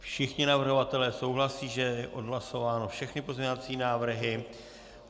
Všichni navrhovatelé souhlasí, že je odhlasováno, všechny pozměňovací návrhy.